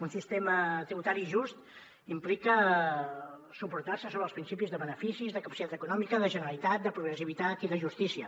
un sistema tributari just implica suportar se sobre els principis de beneficis de capacitat econòmica de generalitat de progressivitat i de justícia